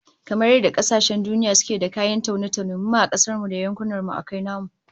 Kamar yadda kasashen duniya suke da kayan taune-taune, mu ma a kasar mu da yankunan mu akwai namu